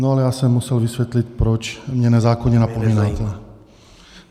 No ale já jsem musel vysvětlit, proč mě nezákonně napomínáte.